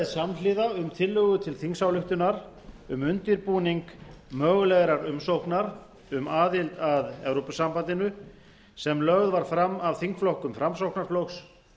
samhliða um tillögu til þingsályktunar um undirbúning mögulegrar umsóknar um aðild að evrópusambandinu sem lögð var fram af þingflokkum framsóknarflokks